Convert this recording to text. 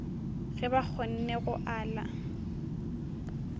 ge ba kgonne go ala